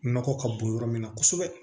Nɔgɔ ka bon yɔrɔ min na kosɛbɛ